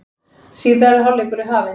Síðari hálfleikur er hafinn